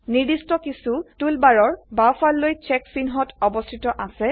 নিৰ্দিষ্ট কিছু টুলবাৰৰ বাঁওফাল লৈ ছেক চিহ্ন অবস্থিত আছে